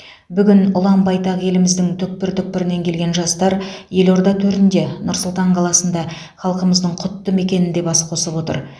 бүгін ұлан байтақ еліміздің түпкір түпкірінен келген жастар елорда төрінде нұр сұлтан қаласында халқымыздың құтты мекенінде бас қосып отыр